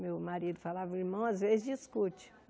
Meu marido falava, o irmão às vezes discute.